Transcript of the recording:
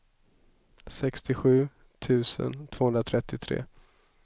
sextiosju tusen tvåhundratrettiotre